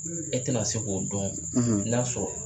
E tɛna se k'o dɔn n'a sɔrɔ